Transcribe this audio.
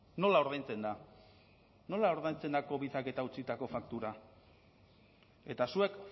nola ordaintzen da nola ordaintzen da covidak eta utzitako faktura eta zuek